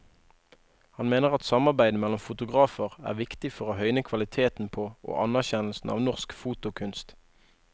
Han mener at samarbeid mellom fotografer er viktig for å høyne kvaliteten på og anerkjennelsen av norsk fotokunst.